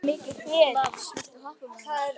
Lars, viltu hoppa með mér?